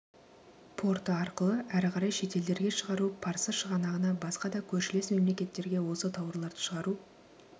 порты арқылы әрі қарай шетелдерге шығару парсы шығанағына басқа да көршілес мемлекеттерге осы тауарларды шығару